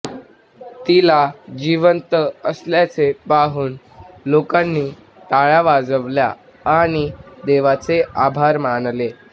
तिला जिवंत असल्याचे पाहून लोकांनी टाळ्या वाजवल्या आणि देवाचे आभार मानले